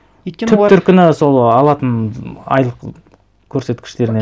өйткені олар түп төркіні сол алатын айлық көрсеткіштеріне